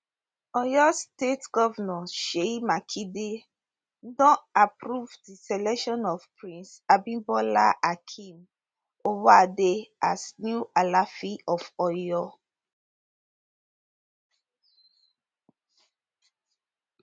oyo state govnor seyi makinde don approve di selection of prince abimbola akeem owoade as new alaafin of oyo